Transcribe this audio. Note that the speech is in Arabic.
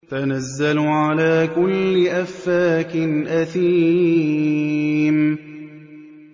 تَنَزَّلُ عَلَىٰ كُلِّ أَفَّاكٍ أَثِيمٍ